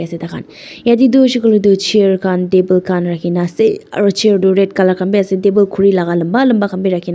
yata khan yate tu hoise koiley tu chair khan table khan rakhi ke na ase aru chair tu red colour khan be ase table khuri laga lamba lamba khan be rakhi na--